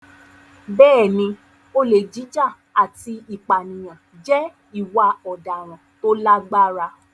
Bẹ́ẹ̀ni, olè jíjà àti ìpànìyàn jẹ́ ìwà ọ̀daràn tó lágbára.